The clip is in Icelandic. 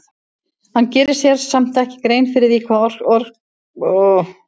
Hann gerir sér samt ekki grein fyrir hvað orkaði svona sterkt á hann.